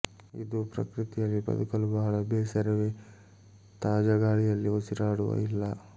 ಇದು ಪ್ರಕೃತಿಯಲ್ಲಿ ಬದುಕಲು ಬಹಳ ಬೇಸರವೇ ತಾಜಾ ಗಾಳಿಯಲ್ಲಿ ಉಸಿರಾಡುವ ಇಲ್ಲ